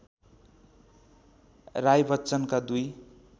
राय बच्चनका दुई